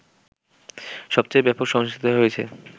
সবচেয়ে ব্যাপক সহিংসতা হয়েছে